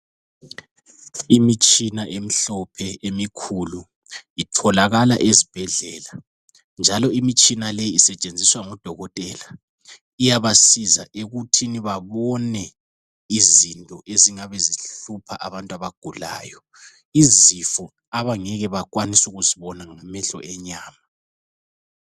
Imitshina emikhulu emhlophe, itholakala ezibhedlela, njalo imtshina leyi isetshenziswa ngodokotela, iyabasiza ekuthini banone izinto ezingabe zihlupha abantu abagulayo, izifo abangeke bakwanise ukuzibona ngamehlo enyama.